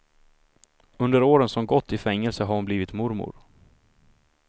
Under åren som gått i fängelse har hon blivit mormor.